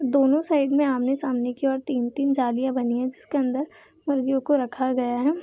दोनों साइड में आमने-सामने की और तीन-तीन जालियाँ बनी हैं जिसके अंदर मुर्गियों को रखा गया है।